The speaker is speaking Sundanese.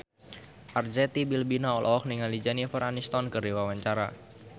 Arzetti Bilbina olohok ningali Jennifer Aniston keur diwawancara